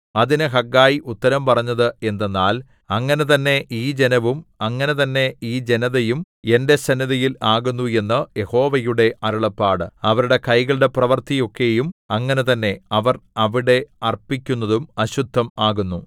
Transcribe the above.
അതിന് ഹഗ്ഗായി ഉത്തരം പറഞ്ഞത് എന്തെന്നാൽ അങ്ങനെ തന്നേ ഈ ജനവും അങ്ങനെ തന്നേ ഈ ജനതയും എന്റെ സന്നിധിയിൽ ആകുന്നു എന്ന് യഹോവയുടെ അരുളപ്പാട് അവരുടെ കൈകളുടെ പ്രവൃത്തിയൊക്കെയും അങ്ങനെ തന്നെ അവർ അവിടെ അർപ്പിക്കുന്നതും അശുദ്ധം ആകുന്നു